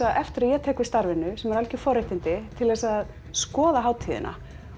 eftir að ég tek við starfinu sem eru algjör forréttindi til þess að skoða hátíðina